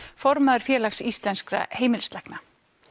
formaður Félags íslenskra heimilislækna